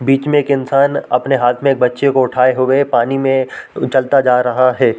बीच में एक इंसान अपने हाथ में एक बच्चे को उठाए हुए पानी में चलता जा रहा हैं।